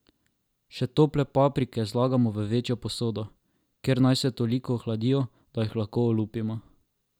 Še tople paprike zlagamo v večjo posodo, kjer naj se toliko ohladijo, da jih lahko olupimo.